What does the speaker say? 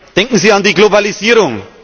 Denken Sie an die Globalisierung.